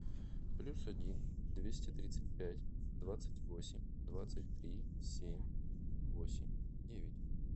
плюс один двести тридцать пять двадцать восемь двадцать три семь восемь девять